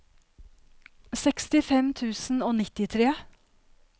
sekstifem tusen og nittitre